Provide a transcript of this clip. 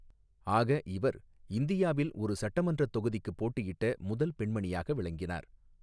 ஆக, இவர் இந்தியாவில் ஒரு சட்டமன்றத் தொகுதிக்குப் போட்டியிட்ட முதல் பெண்மணியாக விளங்கினார்.